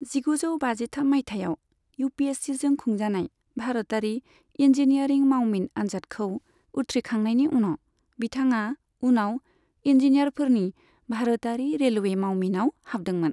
जिगुजौ बाजिथाम मायथाइयाव यूपीएससीजों खुंजानाय भारतारि इन्जीनियारिं मावमिन आनजादखौ उथ्रिखांनायनि उनाव, बिथाङा उनाव इन्जीनियारफोरनि भारतारि रेलवे मावमिनाव हाबदोंमोन।